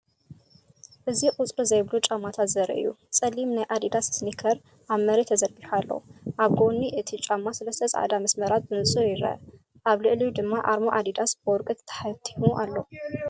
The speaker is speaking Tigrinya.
አዚ ቁጽሪ ዘይብሉ ጫማታት ዘርኢ እዩ። ጸሊም ናይ ኣዲዳስ ስኒከር ኣብ መሬት ተዘርጊሑ ኣሎ። ኣብ ጎኒ እቲ ጫማ ሰለስተ ጻዕዳ መስመራት ብንጹር ይርአ፡ ኣብ ልዕሊኡ ድማ ኣርማ ኣዲዳስ ብወርቂ ተሓቲሙ ኣሎ።